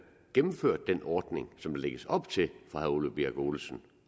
gennemførte den ordning som der lægges op til fra herre ole birk olesen